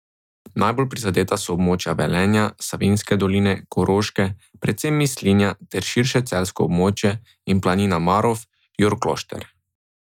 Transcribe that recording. Najbolj prizadeta so območja Velenja, Savinjske doline, Koroške, predvsem Mislinja ter širše celjsko območje in Planina, Marof, Jurklošter.